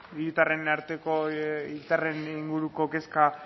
hiritarren arteko inguruko kezka